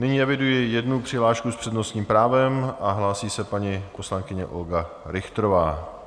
Nyní eviduji jednu přihlášku s přednostním právem a hlásí se paní poslankyně Olga Richterová.